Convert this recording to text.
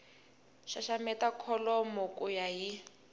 xaxameta kholomo ku ya hi